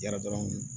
Yara dɔrɔn